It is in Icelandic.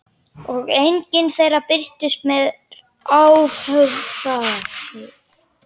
Og enginn þeirra birtist mér afhöfðaður.